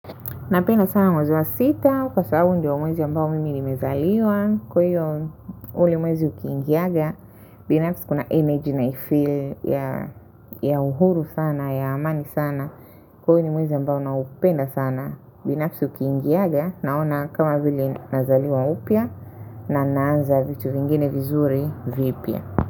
Napenda sana mwezi wa sita, kwa sababu ndio mwezi ambao mimi nimezaliwa, kwa hiyo ule mwezi ukiingiaga, binafsi kuna energy naifeel ya uhuru sana, ya amani sana, kwa hiyo ni mwezi ambao na upenda sana, binafsi ukiingiaga, naona kama vile nazaliwa upya, na naanza vitu vingine vizuri vipya.